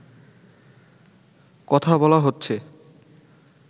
কথা বলা হচ্ছে